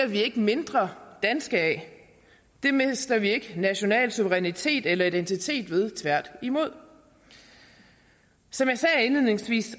vi ikke mindre danske af det mister vi ikke national suverænitet eller identitet ved tværtimod som jeg sagde indledningsvis